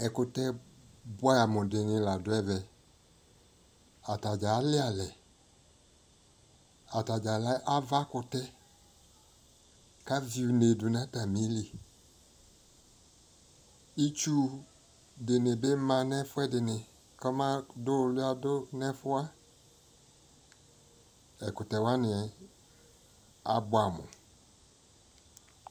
ɛkʋtɛ bʋamʋ di la du ɛmɛ, atagya ali alɛ, atagya lɛ aɣa kʋtɛ, kʋ avi ʋnè nʋ ayili, itsʋ dini manʋ ɛfʋɛdini kʋ ɔbadu ʋwlia dʋnʋ ɛfʋwa, ɛkʋtɛ wani abʋamʋ